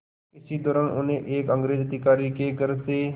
इसी दौरान उन्हें एक अंग्रेज़ अधिकारी के घर से